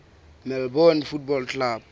melbourne football club